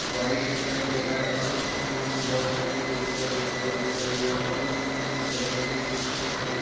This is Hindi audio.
व्हाइट दिखाई दे रहा है और उसमें हमे बहोत सारी खिड़कियां दिखाई दे रही है और उसमें हमे एक दरवाजा दिन दिख रहा है।